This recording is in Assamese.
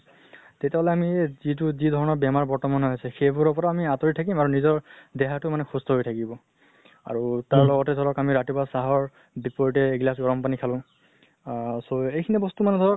তেতিয়া হলে আমি যিটো যি ধৰণৰ বেমাৰ বৰ্তমান হৈ আছে, সেইবোৰৰ পৰা আমি আঁতৰি থাকিম আৰু নিজৰ দেহা টো মানে সুস্থ হৈ থাকিব। আৰু তাৰ লগতে আমি ধৰক ৰাতিপুৱা চাহৰ বিপৰীতে এগিলাছ গৰম পানী খালো, আহ so এই খিনি বস্তু ধৰক